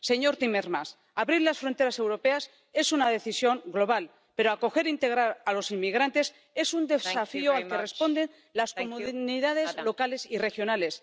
Señor Timmermans abrir las fronteras europeas es una decisión global, pero acoger e integrar a los inmigrantes es un desafío al que responden las comunidades locales y regionales.